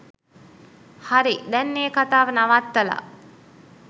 හරි දැන් ඒ කතාව නවත්තලා